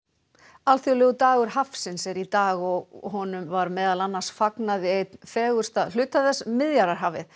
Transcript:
alþjóðlegur dagur hafsins er í dag og honum var meðal annars fagnað við einn fegursta hluta þess Miðjarðarhafið